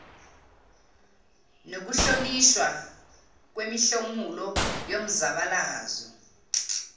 nokuhlonishwa kwemihlomulo yomzabalazo